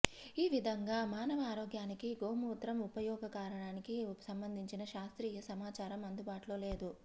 ఈ విధంగా మానవ ఆరోగ్యానికి గోమూత్రం ఉపయోగకరానికి సంబంధించిన శాస్త్రీయ సమాచారం అందుబాటులో లేదు